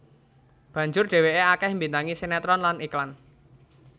Banjur dheweke akeh mbintangi sinetron lan iklan